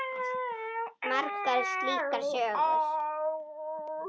Margar slíkar sögur.